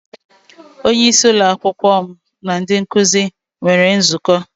Onye isí ụlọ akwụkwọ m na ndị nkụzi nwere nzukọ.